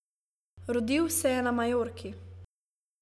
Rodil se je na Majorki.